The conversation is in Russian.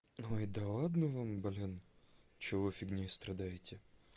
ой да ладно вам блин чего вы фигнёй страдаете